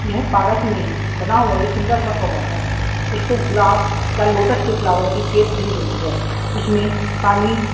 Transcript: यह पार्क में बना हुआ एक सुंदर सा फवारा है इसको गुलाब या लोटस के फ्लावर शेप दी गई है इसमें पानी--